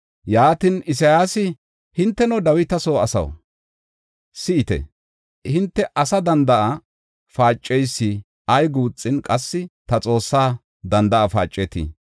Yaatin, Isayaasi, “Hinteno, Dawita soo asaw, si7ite! Hinte asa danda7a paaceysi ay guuxin, qassi ta Xoossa danda7a paacetii?